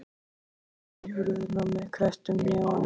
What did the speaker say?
Og lemur í hurðina með krepptum hnefum.